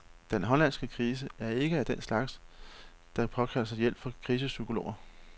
Den hollandske krise er ikke af den slags, der påkalder sig hjælp fra krisepsykologer.